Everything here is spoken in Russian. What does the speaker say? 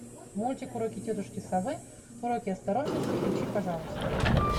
мультик уроки тетушки совы уроки осторожности включи пожалуйста